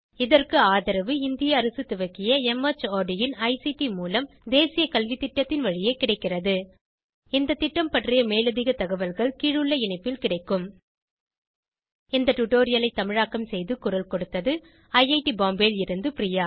இதற்கு ஆதரவு இந்திய அரசு துவக்கிய மார்ட் இன் ஐசிடி மூலம் தேசிய கல்வித்திட்டத்தின் வழியே கிடைக்கிறது இந்த திட்டம் பற்றி மேலதிக தகவல்கள் கீழுள்ள இணைப்பில் கிடைக்கும் இந்த டுடோரியலை தமிழாக்கம் செய்து குரல் கொடுத்தது ஐஐடி பாம்பேவில் இருந்து பிரியா